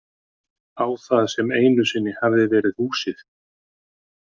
Á það sem einu sinni hafði verið húsið.